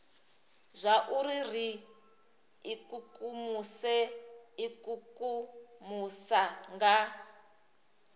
zwauri ri ikukumuse ikukumusa nga